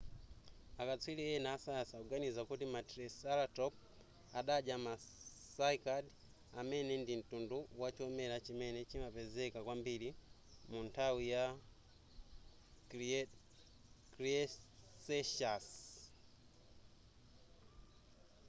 akatswiri ena asayansi akuganiza kuti ma triceratop adadya ma cycad amene ndi mtundu wachomera chimene chimapezeka kwambiri munthawi yama cretaceous